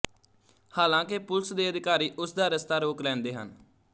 ਹਾਲਾਂਕਿ ਪੁਲਿਸ ਦੇ ਅਧਿਕਾਰੀ ਉਸਦਾ ਰਸਤਾ ਰੋਕ ਲੈਂਦੇ ਹਨ